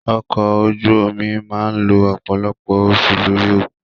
Ọkọ̀ ojú omi a máà lo ọ̀pọ̀lọpọ̀ oṣù lórí òkun.